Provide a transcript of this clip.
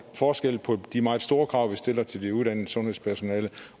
forskelle på de meget store krav vi stiller til det uddannede sundhedspersonale